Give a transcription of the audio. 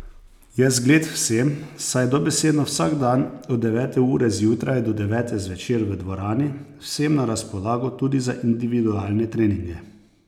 Je zgled vsem, saj je dobesedno vsak dan od devete ure zjutraj do devete zvečer v dvorani, vsem na razpolago tudi za individualne treninge.